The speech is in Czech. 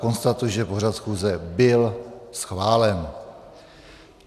Konstatuji, že pořad schůze byl schválen.